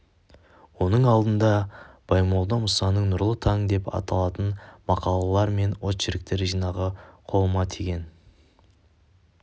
оның алдында баймолда мұсаның нұрлы таң деп аталатын мақалалар мен очерктер жинағы қолыма тиген